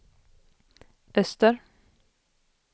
öster